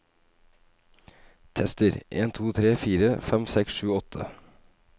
Tester en to tre fire fem seks sju åtte